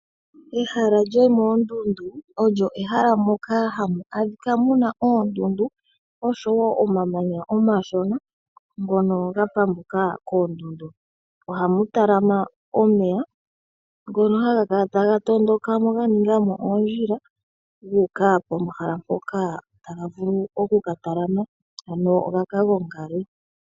Ehala lyomoondundu olyo ehala moka hamu adhika muna oondundu osho wo omamanya omashona ngono ga pambuka koondundu. Oha mu talama omeya ngono haga kala taga tondika mo ga ninga mo oondjila gu uka pomahala mpoka taga vulu kuka talamena, ano gaka gongale.